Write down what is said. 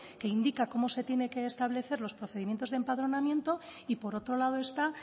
que indica cómo se tiene que establecer los procedimientos de empadronamiento y por otro lado está